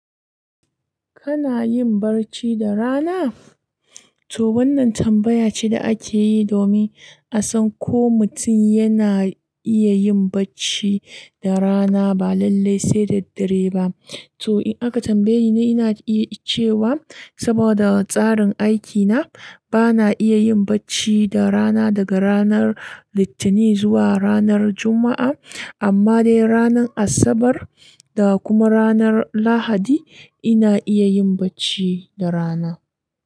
Kana yin barci da rana? Toh wannan tambaya ce da ake yi domin a san ko mutum yana iya yin bacci da rana ba lalle sai daddare ba. Toh in aka tambaye ni, ina iya cewa saboda tsarin aikina, ba na iya yin bacci da rana daga ranar Litinin zuwa ranar Juma'a. Amma dai ranar Asabar da kuma ranar Lahadi ina iya yin bacci da rana.